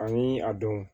Ani a don